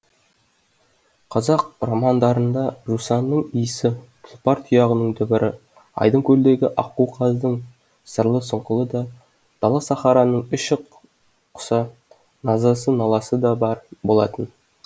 қазақ романдарында жусанының исі тұлпар тұяғының дүбірі айдын көлдегі аққу қаздың сырлы сұңқылы да дала сахараның құса назасы наласы да бар болатын